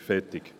Fertig